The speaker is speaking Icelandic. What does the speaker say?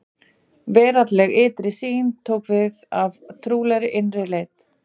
Veraldleg ytri sýn tók við af trúarlegri innri leit.